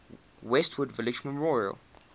westwood village memorial